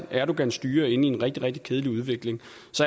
erdogans styre er inde i en rigtig rigtig kedelig udvikling